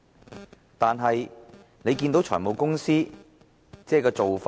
可是，大家看到現時財務公司的做法。